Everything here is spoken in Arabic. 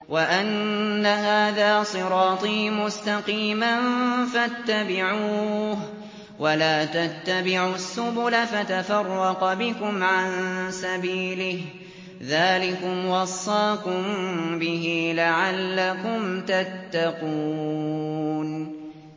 وَأَنَّ هَٰذَا صِرَاطِي مُسْتَقِيمًا فَاتَّبِعُوهُ ۖ وَلَا تَتَّبِعُوا السُّبُلَ فَتَفَرَّقَ بِكُمْ عَن سَبِيلِهِ ۚ ذَٰلِكُمْ وَصَّاكُم بِهِ لَعَلَّكُمْ تَتَّقُونَ